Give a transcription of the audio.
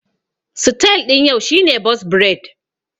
Sityl ɗin yau shi ne bos braid